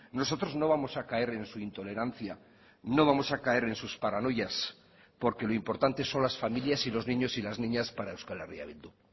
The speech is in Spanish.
nosotros no vamos a caer en su intolerancia no vamos a caer en sus paranoias porque lo importante son las familias y los niños y las niñas para euskal herria bildu